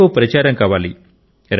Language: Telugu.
ఎక్కువ ప్రచారం కావాలి